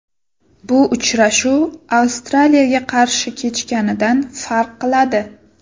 Bu uchrashuv Avstraliyaga qarshi kechganidan farq qiladi.